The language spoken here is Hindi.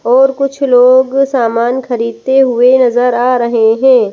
और कुछ लोग सामान खरीदते हुए नज़र आ रहे हैं।